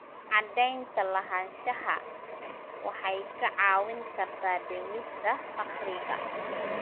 Cadaynta lahaanshaha waxay kaa caawin kartaa dhimista faqriga.